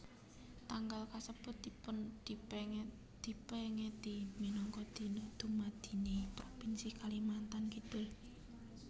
Tanggal kasebut dipèngeti minangka Dina Dumadiné Propinsi Kalimantan Kidul